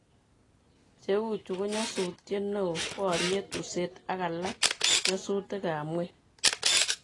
Cheuchu ko nyasutiet neoo, boriet, useet ala ko nyosutik ab nyweny